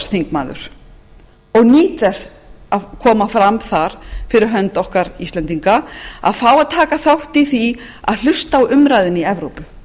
evrópuráðsþingmaður og nýt þess á koma fram þar fyrir hönd okkar íslendinga að fá að taka þátt í því að hlusta á umræðuna í evrópu